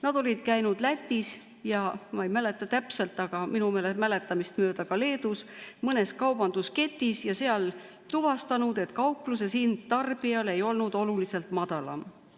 Nad olid käinud Lätis ja, ma ei mäleta täpselt, aga minu mäletamist mööda ka Leedus mitmes kaubandusketis ja tuvastanud, et kaupluses ei olnud hind tarbijale oluliselt madalam.